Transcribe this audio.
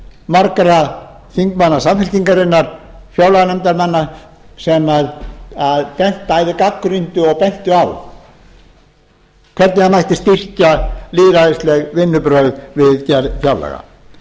margra þingmanna samfylkingarinnar fjárlaganefndarmanna sem bæði gagnrýndu og bentu á hvernig mætti styrkja lýðræðisleg vinnubrögð við gerð fjárlaga